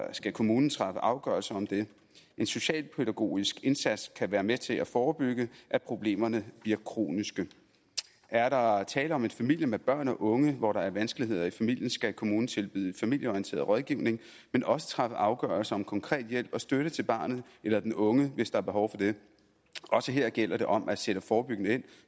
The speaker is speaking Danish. skal kommunen træffe afgørelse om det en socialpædagogisk indsats kan være med til at forebygge at problemerne bliver kroniske er der tale om en familie med børn og unge hvor der er vanskeligheder i familien skal kommunen tilbyde familieorienteret rådgivning men også træffe afgørelse om konkret hjælp og støtte til barnet eller den unge hvis der er behov for det også her gælder det om at sætte forebyggende ind